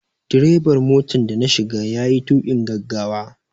Direban motar da na shiga ya yi tuƙin gaggawa.